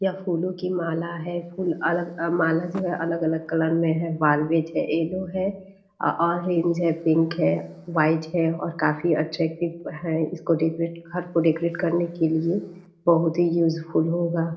यह फूलों की माला है फूल अलग माला जो है अलग-अलग कलर में है वालवेट है एल्लो है अ ऑरेंज है पिंक है वाइट है और काफ़ी अट्रैक्टिव है इसको डेकोरेट घर को डेकोरेट करने के लिए बहुत ही यूजफुल होगा।